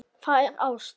Það er ást.